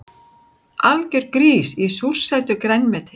Algjör grís í súrsætu grænmeti